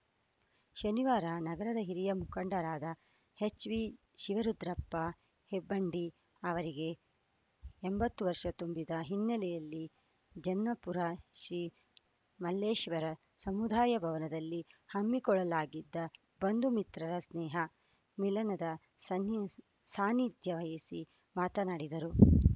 ಶನಿವಾರ ನಗರದ ಹಿರಿಯ ಮುಖಂಡರಾದ ಎಚ್‌ವಿ ಶಿವರುದ್ರಪ್ಪ ಹೆಬ್ಬಂಡಿ ಅವರಿಗೆ ಎಂಬತ್ತು ವರ್ಷ ತುಂಬಿದ ಹಿನ್ನಲೆಯಲ್ಲಿ ಜನ್ನಾಪುರ ಶ್ರೀ ಮಲ್ಲೇಶ್ವರ ಸಮುದಾಯ ಭವನದಲ್ಲಿ ಹಮ್ಮಿಕೊಳ್ಳಲಾಗಿದ್ದ ಬಂಧುಮಿತ್ರರ ಸ್ನೇಹ ಮಿಲನದ ಸನ್ನಿ ಸಾನ್ನಿಧ್ಯ ವಹಿಸಿ ಮಾತನಾಡಿದರು